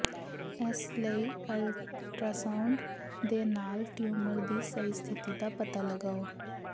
ਇਸ ਲਈ ਅਲਟਾਸਾਊਂਡ ਦੇ ਨਾਲ ਟਿਊਮਰ ਦੀ ਸਹੀ ਸਥਿਤੀ ਦਾ ਪਤਾ ਲਗਾਓ